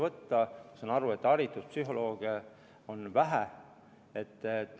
Ma saan aru, et haritud psühholooge on vähe.